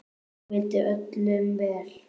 Hún vildi öllum vel.